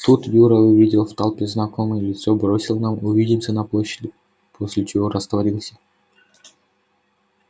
тут юра увидел в толпе знакомое лицо бросил нам увидимся на площади после чего растворился